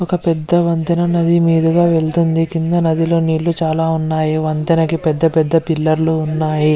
ఒక పెద్ద వంతెన నది మీదగా వెళ్తుంది కింద నది లో నీళ్లు చాల ఉన్నాయి వంతెనకు పెద్ద పెద్ద పిల్లర్లు ఉన్నాయి .